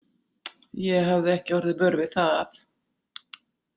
Ég hafði ekki orðið vör við það.